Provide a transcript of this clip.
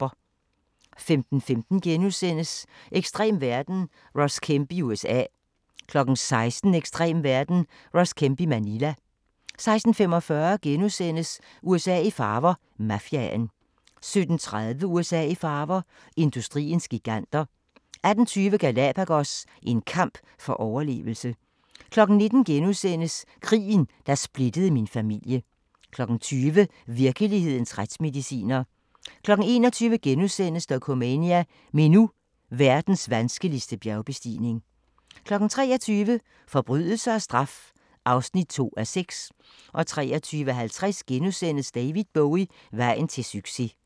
15:15: Ekstrem verden – Ross Kemp i USA * 16:00: Ekstrem verden – Ross Kemp i Manila 16:45: USA i farver – Mafiaen * 17:30: USA i farver – industriens giganter 18:20: Galapagos – en kamp for overlevelse 19:00: Krigen, der splittede min familie * 20:00: Virkelighedens retsmediciner 21:00: Dokumania: Meru – verdens vanskeligste bjergbestigning * 23:00: Forbrydelse og straf (2:6) 23:50: David Bowie – vejen til succes *